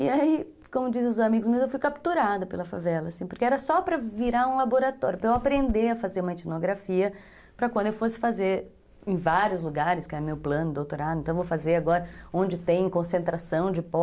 E aí, como dizem os amigos meus, eu fui capturada pela favela, assim, porque era só para virar um laboratório, para eu aprender a fazer uma etnografia, para quando eu fosse fazer em vários lugares, que era meu plano de doutorado, então eu vou fazer agora onde tem concentração de pó,